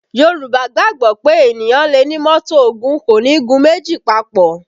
Yorùbá gbàgbọ́ pé ènìyàn lè ní mọ́tò ogún, ṣùgbọ́n kò ní gun méjì papò